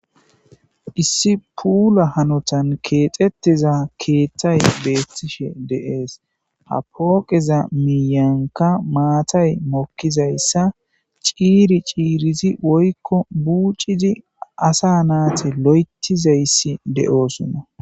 issi puula hanotan keexetteza keeththay betiishshe de'ees ha pooqeza miiyankka maatay mokkizayssa ciiri ciirizi woykko buucizi asa naati loetizayssi de'osoona